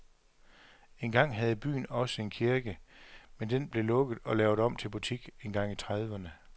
Engang havde byen også en kirke, men den blev lukket og lavet om til butik engang i trediverne.